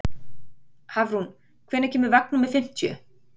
Hafrún, hvenær kemur vagn númer fimmtíu?